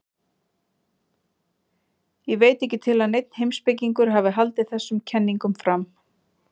Ég veit ekki til að neinn heimspekingur hafi haldið þessum kenningum fram.